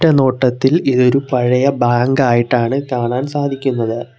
ഒറ്റ നോട്ടത്തിൽ ഇത് ഒരു പഴയ ബാങ്ക് ആയിട്ടാണ് കാണാൻ സാധിക്കുന്നത്.